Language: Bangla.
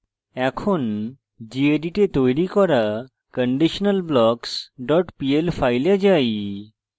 এখন gedit we তৈরী করা conditionalblocks pl file যাই